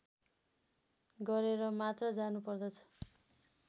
गरेर मात्र जानुपर्दछ